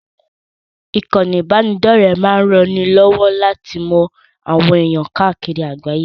Ìkànnì ìbánidọ́rẹ̀ẹ́ máa ranni lọ́wọ́ láti mọ àwọn ẹ̀ẹ̀yàn káàkiri àgbáyé.